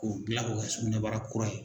K'o gila k'o kɛ sukunɛbara kura ye.